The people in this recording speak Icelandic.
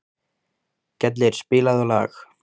Gellir, spilaðu lag.